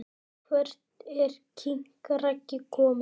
Hvert er king Raggi komin??